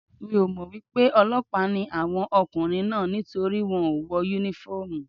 Mi ò mọ̀ pé ọlọ́pàá ni àwọn ọkùnrin náà nítorí wọ́n ò wọ Únífọ́ọ̀mù